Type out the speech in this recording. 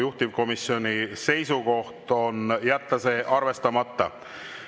Juhtivkomisjoni seisukoht on jätta see arvestamata.